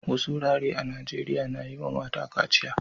Wasu wurare a Najeriya na yi wa mata kaciya.